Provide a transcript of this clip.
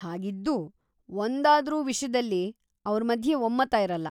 ಹಾಗಿದ್ದೂ ಒಂದಾದ್ರೂ ವಿಷ್ಯದಲ್ಲಿ ಅವ್ರ ಮಧ್ಯೆ ಒಮ್ಮತ ಇರಲ್ಲ.